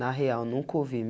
Na real, nunca ouvi.